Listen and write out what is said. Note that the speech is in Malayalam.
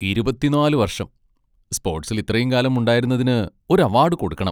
ഇരുപത്തിനാല് വർഷം..സ്പോട്സിൽ ഇത്രയും കാലം ഉണ്ടായിരുന്നതിന് ഒരു അവാഡ് കൊടുക്കണം.